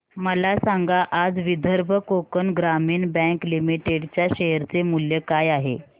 मला सांगा आज विदर्भ कोकण ग्रामीण बँक लिमिटेड च्या शेअर चे मूल्य काय आहे